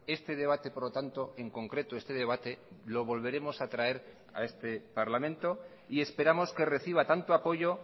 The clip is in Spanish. este debate por lo tanto en concreto este debate lo volveremos a traer a este parlamento y esperamos que reciba tanto apoyo